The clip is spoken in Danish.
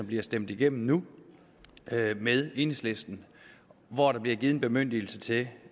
bliver stemt igennem med enhedslisten hvor der bliver givet en bemyndigelse til